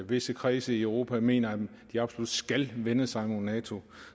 visse kredse i europa mener endog at de absolut skal vende sig hen imod nato